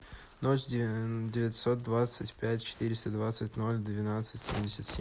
ноль девятьсот двадцать пять четыреста двадцать ноль двенадцать семьдесят семь